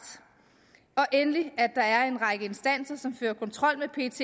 og endelig at der er en række instanser som fører kontrol med pets